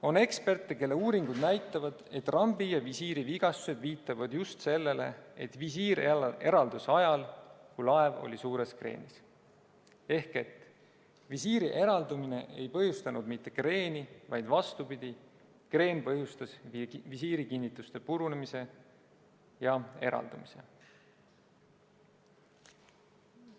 On eksperte, kelle uuringud näitavad, et rambi ja visiiri vigastused viitavad just sellele, et visiir eraldus ajal, kui laev oli suures kreenis ehk et visiiri eraldumine ei põhjustanud kreeni, vaid vastupidi, kreen põhjustas visiiri kinnituste purunemise ja visiiri eraldumise.